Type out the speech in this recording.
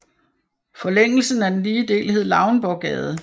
Forlængelsen af den lige del hed Lauenborggade